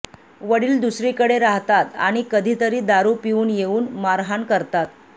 वडील दुसरीकडे राहतात आणि कधीतरी दारू पिऊन येऊन मारहाण करतात